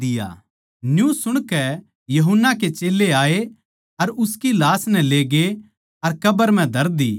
न्यू सुणकै यूहन्ना के चेल्लें आए अर उसकी लाश नै लेगे अर कब्र म्ह धर दी